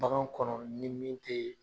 Bagan kɔnɔ ni min te